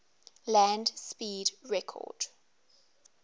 land speed record